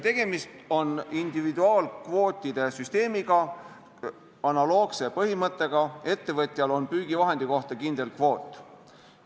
Tegemist on individuaalkvootide süsteemiga analoogse põhimõttega, ettevõtjal on püügivahendi kohta kindel kvoot.